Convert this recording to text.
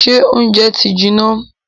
Ṣé óúnjẹ ti jiná?